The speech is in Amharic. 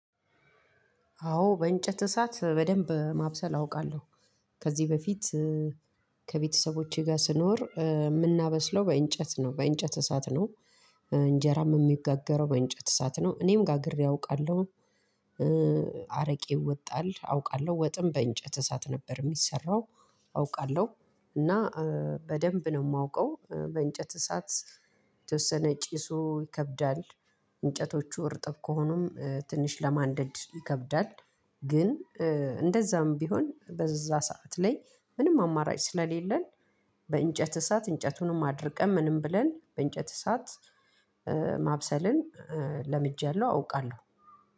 አዎ፣ በእንጨት እሳት በደንብ ማብሰል አውቃለሁ። ከዚህ በፊት ከቤተሰቦቼ ጋር ስኖር የምናበስለው በእንጨት እሳት ነው፤ እንጀራም የሚጋገረው በእንጨት እሳት ነው፤ እኔም ጋግሬ አውቃለሁ። አረቄ ይወጣል አውቃለሁ፤ ወጥም በእንጨት እሳት ነበር ሚሰራው፣ አውቃለሁ። እና በደንብ ነው የማውቀው በእንጨት እሳት የተወሰነ ጭሱ ይከብዳል፣ እንጨቶቹ እርጥብ ከሆኑም ትንሽ ለማንደድ ይከብዳል፤ ግን እንደዛም ቢሆን በዛ ሰዓት ላይ ምንም አማራጭ ስለሌለን፣ በእንጨት እሳት እንጨቱንም አድርቀን ምንም ብለን በእንጨት እሳት ማብሰልን ለምጃለሁ፣ አውቃለሁ።